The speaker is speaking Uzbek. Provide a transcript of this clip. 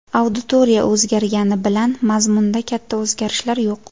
Auditoriya o‘zgargani bilan mazmunda katta o‘zgarishlar yo‘q.